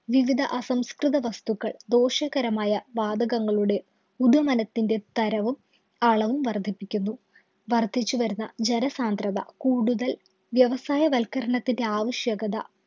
വിവിധ അസംസ്കൃത വസ്തുക്കള്‍ ദോഷകരമായ വാതകങ്ങളുടെ ഉദുമനത്തിന്‍റെ തരവും, അളവും വര്‍ദ്ധിപ്പിക്കുന്നു. വര്‍ധിച്ചു വരുന്ന ജനസാന്ദ്രത കൂടുതല്‍ വ്യവസായ വല്‍ക്കരണത്തിന്‍റെ ആവശ്യകത